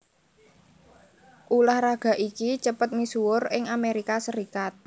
Ulah raga iki cepet misuwur ing Amerika Serikat